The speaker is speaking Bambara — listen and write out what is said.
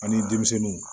Ani denmisɛnninw